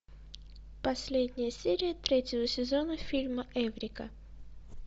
последняя серия третьего сезона фильма эврика